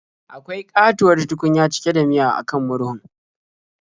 Akwai ƙatuwar tukunya cike da miya a kan murhun.